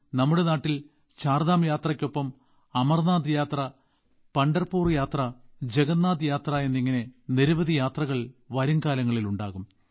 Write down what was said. നമ്മുടെ നാട്ടിൽ ചാർധാം യാത്രയ്ക്കൊപ്പം അമർനാഥ് യാത്ര പണ്ഡർപൂർ യാത്ര ജഗന്നാഥ് യാത്ര എന്നിങ്ങനെ നിരവധി യാത്രകൾ വരുംകാലങ്ങളിൽ ഉണ്ടാകും